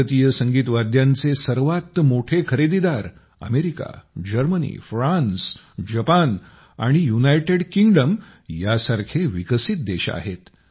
भारतीय संगीत वाद्यांचे सर्वात मोठे खरेदीदार अमेरिका जर्मनी फ्रान्स जपान आणि युनायटेड किंग्डम यासारखे विकसित देश आहेत